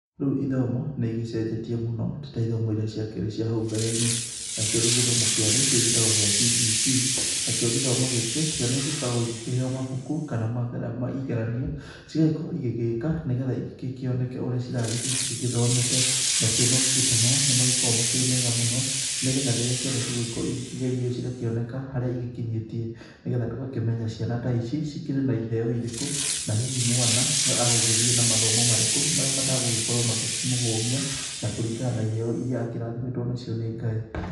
Rĩu ithomo nĩ igecenjetie mũno ti ta ithomo iria ciakĩrĩ cia hau mbere-inĩ, nacio rĩu gĩthomo kĩa rĩu gĩgĩtagwo gĩa CBC. Nakĩo gĩthomo gĩkĩ ciana igĩkoragwo igĩkĩheo mabuku kana igeranio cigagĩkorwo igĩgĩka nĩ getha igĩkĩoneke ũrĩa ciragĩthiĩ igĩgĩthomete. Nacio mabuku ta maya nĩ magĩkoragwo makĩrĩ mega mũno nĩguo ciana rĩrĩa ciakorwo igĩkĩgerio cigakĩoneka harĩa igĩkinyĩtie. Nĩ getha tũgakĩmenya ciana ta ici cikĩrĩ na iheo irĩkũ na hihi mwana agũgĩthiĩ na mathomo marĩkũ marĩa matagũgĩkorwo magĩkĩmũhũmia na kũringana na iheo iria akĩrathimĩtwo nacio nĩ Ngai.